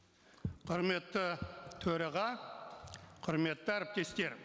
құрметті төраға құрметті әріптестер